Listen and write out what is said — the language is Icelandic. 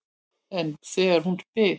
En þegar hún spyr